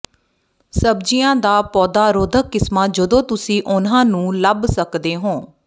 ਸਬਜ਼ੀਆਂ ਦੀ ਪੌਦਾ ਰੋਧਕ ਕਿਸਮਾਂ ਜਦੋਂ ਤੁਸੀਂ ਉਹਨਾਂ ਨੂੰ ਲੱਭ ਸਕਦੇ ਹੋ